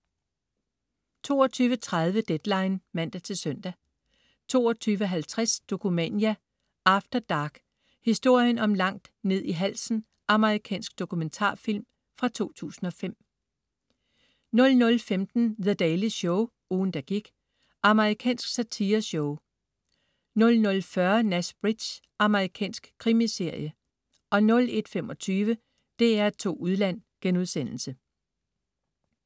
22.30 Deadline (man-søn) 22.50 Dokumania After Dark: Historien om "Langt ned i halsen".Amerikansk dokumentarfilm fra 2005 00.15 The Daily Show, ugen, der gik. Amerikansk satireshow 00.40 Nash Bridges. Amerikansk krimiserie 01.25 DR2 Udland*